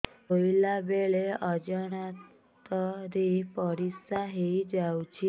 ଶୋଇଲା ବେଳେ ଅଜାଣତ ରେ ପରିସ୍ରା ହେଇଯାଉଛି